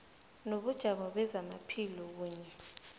nobujamo bezamaphilo kunye